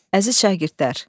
Əziz şagirdlər.